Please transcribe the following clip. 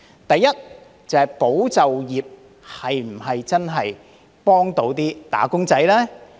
第一，"保就業"計劃能否真正幫助"打工仔"呢？